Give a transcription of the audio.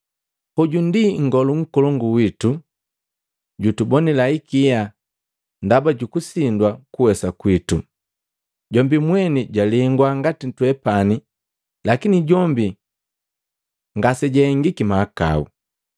Hoju Nngolu Nkolongu witu jutubonila ikia ndaba jukusindwa kuwesa kwitu; jombi mweni jwalengwa ngati twepani lakini jombi ngasejahengiki mahakau.